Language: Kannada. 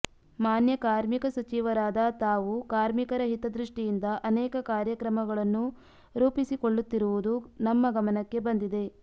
ಮಾನ್ಯ ಕಾರ್ಮಿಕ ಸಚಿವರಾದ ತಾವು ಕಾರ್ಮಿಕರ ಹಿತದೃಷ್ಟಿಯಿಂದ ಅನೇಕ ಕಾರ್ಯಕ್ರಮಗಳನ್ನು ರೂಪಿಸಿಕೊಳ್ಳುತ್ತಿರುವುದು ನಮ್ಮ ಗಮನಕ್ಕೆ ಬಂದಿದೆ